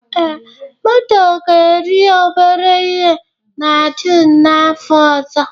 Ee, moto ga-eri obere ihe na June n'afọ ọzọ